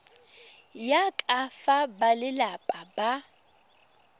ya ka fa balelapa ba